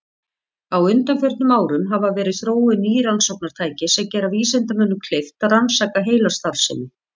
Á undanförnum árum hafa verið þróuð ný rannsóknartæki sem gera vísindamönnum kleift að rannsaka heilastarfsemi.